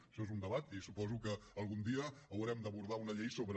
això és un debat i suposo que algun dia haurem d’abordar una llei sobre